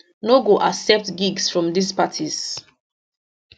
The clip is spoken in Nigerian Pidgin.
no go accept gigs from dis parties